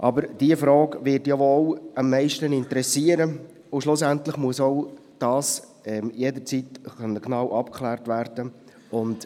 Aber diese Frage wird wohl am meisten interessieren, und schlussendlich muss auch das jederzeit genau abgeklärt werden können.